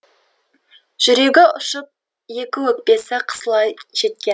жүрегі ұшып екі өкпесі қысыла жеткен